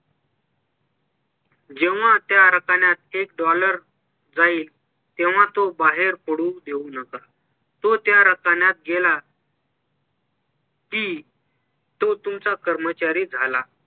जेव्हा त्या रकान्यात एक dollar जाईल तेव्हा तो बाहेर पडू देऊ नका तो त्या रकान्यात गेला कि तो तुमचा कर्मचारी झाला